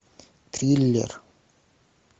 триллер